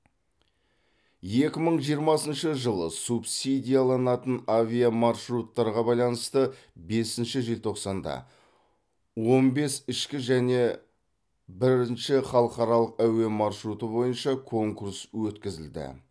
екі мың жиырмасыншы жылы субсидияланатын авиамаршруттарға байланысты бесінші желтоқсанда он бес ішкі және бірінші халықаралық әуе маршруты бойынша конкурс өткізілді